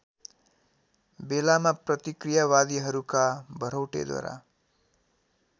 बेलामा प्रतिक्रियावादीहरूका भरौटेद्वारा